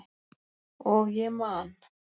Og ég man.